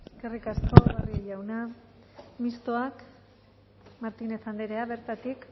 eskerrik asko barrio jauna mistoa martínez andrea bertatik